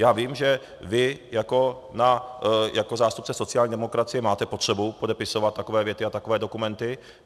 Já vím, že vy jako zástupce sociální demokracie máte potřebu podepisovat takové věty a takové dokumenty.